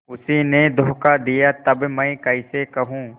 उसी ने धोखा दिया तब मैं कैसे कहूँ